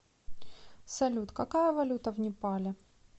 салют какая валюта в непале